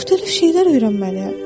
Müxtəlif şeylər öyrənməliyəm.